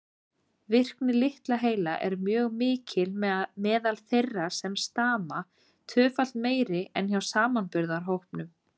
Virkni litla heila er mjög mikil meðal þeirra sem stama, tvöfalt meiri en hjá samanburðarhópnum.